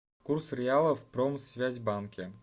курс реала в промсвязьбанке